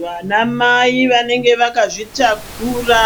Vanamai vanenge vakazvitakura